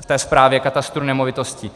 v té správě katastru nemovitostí.